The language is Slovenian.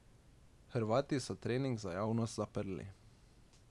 Hrvati so trening za javnost zaprli.